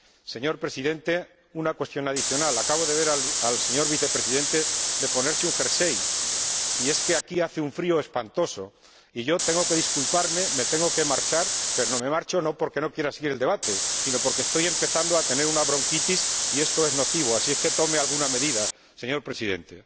Señor Presidente, una cuestión adicional acabo de ver al señor Vicepresidente ponerse un jersey, y es que aquí hace un frío espantoso, y yo tengo que disculparme porque me tengo que marchar, pero no me marcho porque no quiera seguir el debate, sino porque estoy empezando a tener una bronquitis, y esto es nocivo, así que tome alguna medida, señor Presidente.